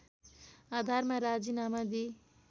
आधारमा राजीनामा दिई